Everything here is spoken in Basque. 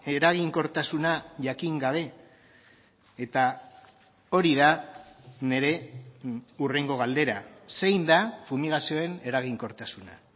eraginkortasuna jakin gabe eta hori da nire hurrengo galdera zein da fumigazioen eraginkortasuna